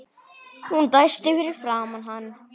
Hún dæsti fyrir framan hann.